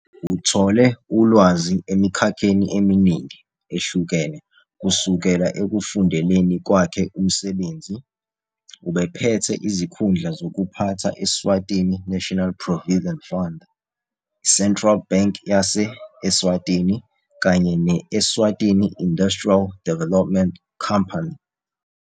Uthole ulwazi emikhakheni eminingi ehlukene kusukela ekufundeleni kwakhe umsebenzi, ubephethe izikhundla zokuphatha Eswatini National Provident Fund, i- Central Bank yase-Eswatini kanye ne- Eswatini Industrial Development Company.